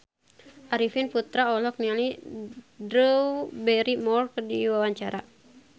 Arifin Putra olohok ningali Drew Barrymore keur diwawancara